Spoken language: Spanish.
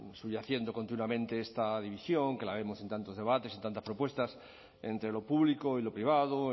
subyaciendo continuamente esta división que la vemos en tantos debates y tantas propuestas entre lo público y lo privado